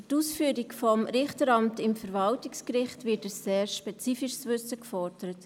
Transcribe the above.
Für die Wahl des Richteramts am Verwaltungsgericht wird ein sehr spezifisches Wissen gefordert.